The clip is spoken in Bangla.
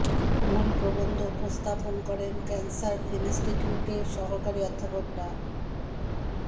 মূল প্রবন্ধ উপস্থাপন করেন ক্যান্সার ইন্সটিটিউটের সহকারী অধ্যাপক ডা